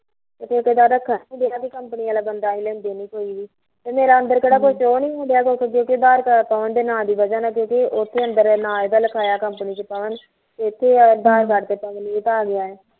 ਇੱਕ ਗੱਲ ਦਾ ਪੰਗਾ ਵੀ ਜਿਹੜਾ ਵੀ company ਆਲਾ ਬੰਦਾ ਏਹ ਲੈਂਦੇ ਨੀ ਕੋਈ ਵੀ ਤੇ ਮੇਰਾ ਅੰਦਰ ਕੋਈ ਕਿਉ ਨੀ ਹੋਣ ਡੀਆ ਜੇ ਅੰਦਰ ਮੇਰਾ ਅਧਾਰ ਕਾਰਡ ਨਬਰ ਨਾ ਪਾਉਣ ਦੀ ਵਜ ਕਰਕੇ ਉੱਥੇ ਨਾ ਇਹਦਾ ਲਿਖਾਇਆ company ਚ ਪਵਨ ਤੇ ਇੱਥੇ ਏਦਾਂ ਪਵਨਦੀਪ ਆਗਿਆ ਆ